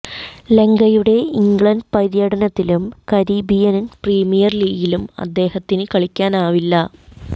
ലങ്കയുടെ England പര്യടനത്തിലും Caribbean premier ലീഗിലും അദ്ദേഹത്തിന് കളിക്കാനാവില്ല